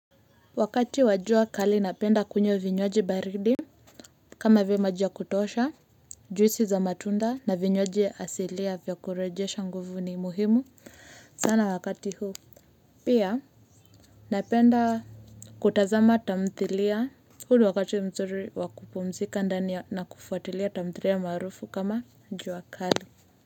Wakati wa jua kali napenda kunywa vinywaji baridi kama vimaji ya kutosha juisi za matunda na vinywaji asilia vya kurejesha nguvu ni muhimu sana wakati huu pia napenda kutazama tamthilia huu wakati mzuri wa kupumzika ndani ya na kufuatilia tamthilia marufu kama jua kali.